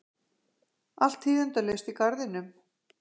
Allt tíðindalaust í garðinum.